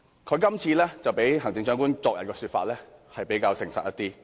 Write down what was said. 他的說法較行政長官昨天的說法，是比較誠實一點。